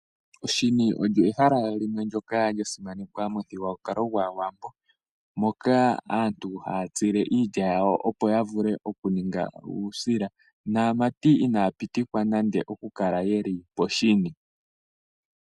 Oshini olyo ehala limwe ndyoka lya simanekwa momuthigululwakalo gwaawambo moka aantu haya tsile iilya yawo opo yavule okuninga uusila naamati inaya pitikwa nande okukala yeli poshini